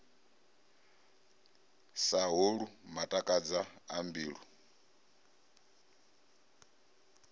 sa holwu matakadza a mbilu